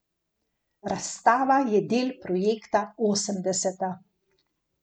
Razstava je del projekta Osemdeseta.